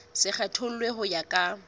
se kgethollwe ho ya ka